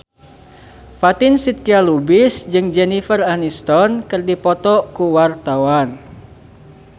Fatin Shidqia Lubis jeung Jennifer Aniston keur dipoto ku wartawan